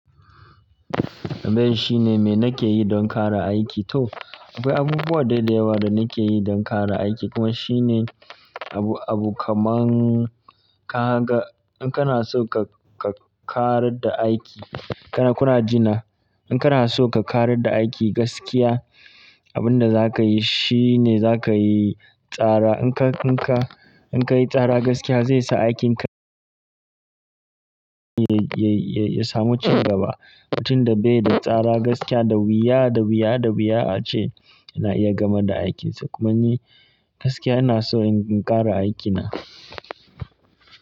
Abin shi ne me nake yi don ƙara aiki. To, akwai abubuwa da yawa da nake yi don ƙara aiki kuma shi ne abu, abu kaman ka ga in kana so ka, ka ƙarar da aiki, kana, kuna jina. In kana so ka ƙarar da aiki gaskiya, abin da za ka yi shi ne za ka yi tsara. In ka, in ka, in ka yi tsara gaskiya zai sa aikinka ya, ya, ya samu cigaba. Batun da be da tsara gaskiya da wuya, da wuya, da wuya ce ana iya gamar da aikinsa. Kuma ni gaskiya ina so in ƙara aikina.